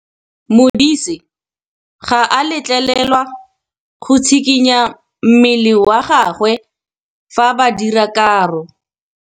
Modise ga a letlelelwa go tshikinya mmele wa gagwe fa ba dira karô.